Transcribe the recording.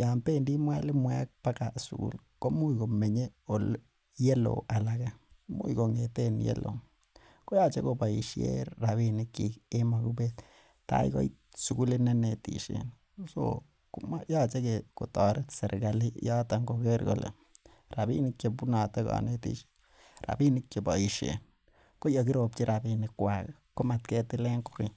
Yoon bendii mualimuek baga sukul komuch komenye ye loo alake imuch kong'eten yeloo koyoche keboisien robinik chik en mogubet tai koit sukulit neinetisien koyoche kotoret serigali en yoton Kroger kole robinik chebunote konetichu konetishe anan robinik che boisien, ko yakirobchi robinik ko motketilen kokeny